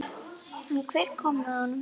En hver kom með honum?